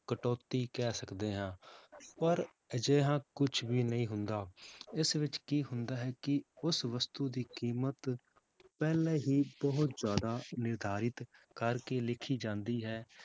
ਕਟੌਤੀ ਕਹਿ ਸਕਦੇ ਹਾਂ ਪਰ ਅਜਿਹਾ ਕੁਛ ਵੀ ਨਹੀਂ ਹੁੰਦਾ ਇਸ ਵਿੱਚ ਕੀ ਹੁੰਦਾ ਹੈ ਕਿ ਉਸ ਵਸਤੂ ਦੀ ਕੀਮਤ ਪਹਿਲੇ ਹੀ ਬਹੁਤ ਜ਼ਿਆਦਾ ਨਿਰਧਾਰਿਤ ਕਰਕੇ ਲਿਖੀ ਜਾਂਦੀ ਹੈ